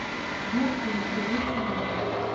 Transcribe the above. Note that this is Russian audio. сбер фильм привет семье